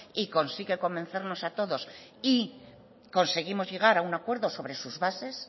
y consigue convencernos a todos y conseguimos llegar a un acuerdo sobre sus bases